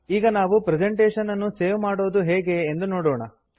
ಈಗ ನಾವು ಪ್ರೆಸೆಂಟೇಷನ್ ಅನ್ನು ಸೇವ್ ಮಾಡೋದು ಹೇಗೆ ಎಂದು ನೋಡೋಣ